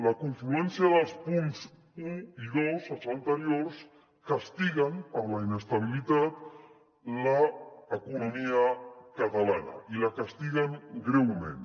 la confluència dels punts un i dos els anteriors castiguen per la inestabilitat l’economia catalana i la castiguen greument